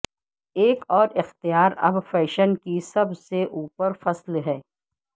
ایک اور اختیار اب فیشن کی سب سے اوپر فصل ہے